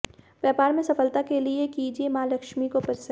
व्यापार में सफलता के लिए कीजिए मां लक्ष्मी को प्रसन्न